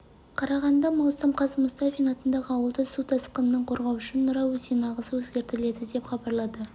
қарағанды маусым қаз мұстафин атындағы ауылды су тасқынынан қорғау үшін нұра өзенінің ағысы өзгертіледі деп хабарлады